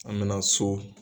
An bɛ na so